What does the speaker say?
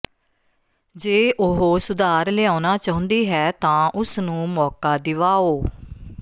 ਜੇ ਉਹ ਸੁਧਾਰ ਲਿਆਉਣਾ ਚਾਹੁੰਦੀ ਹੈ ਤਾਂ ਉਸ ਨੂੰ ਮੌਕਾ ਦਿਵਾਓ